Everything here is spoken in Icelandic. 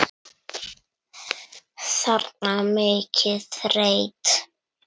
þarna, mikið rétt.